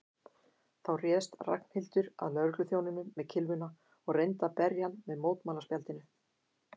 Þá réðst Ragnhildur að lögregluþjóninum með kylfuna og reyndi að berja hann með mótmælaspjaldinu.